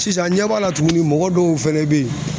Sisan an ɲɛ b'a la tuguni mɔgɔ dɔw fɛnɛ be yen